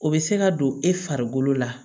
O bɛ se ka don e farikolo la